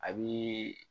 A bi